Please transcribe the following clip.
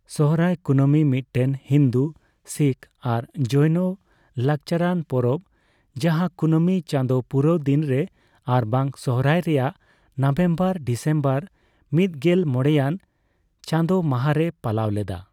ᱥᱚᱦᱨᱟᱭ ᱠᱩᱱᱟᱹᱢᱤ ᱢᱤᱫᱴᱮᱱ ᱦᱤᱱᱫᱩ, ᱥᱤᱠᱷ ᱟᱨ ᱡᱚᱭᱱᱚ ᱞᱟᱠᱪᱟᱨᱟᱱ ᱯᱚᱨᱚᱵᱽ, ᱡᱟᱦᱟᱸ ᱠᱩᱱᱟᱹᱢᱤ ᱪᱟᱸᱫᱳ ᱯᱩᱨᱟᱹᱣ ᱫᱤᱱ ᱨᱮ ᱟᱨᱵᱟᱝ ᱥᱚᱦᱨᱟᱭ ᱨᱮᱭᱟᱜ ᱱᱚᱵᱷᱮᱢᱵᱚᱨᱼᱰᱤᱥᱮᱢᱵᱚᱨ ᱢᱤᱫᱜᱮᱞ ᱢᱚᱬᱮᱭᱟᱱ ᱪᱟᱸᱫᱚ ᱢᱟᱦᱟᱨᱮ ᱯᱟᱞᱟᱣ ᱞᱮᱫᱟ ᱾